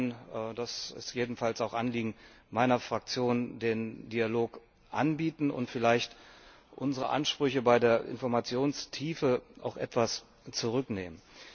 Wir werden das ist jedenfalls auch Anliegen meiner Fraktion den Dialog anbieten und vielleicht unsere Ansprüche bei der Informationstiefe auch etwas zurücknehmen.